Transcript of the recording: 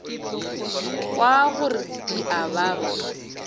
kwa gore di a baba